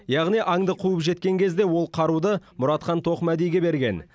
яғни аңды қуып жеткен кезде ол қаруды мұратхан тоқмәдиге берген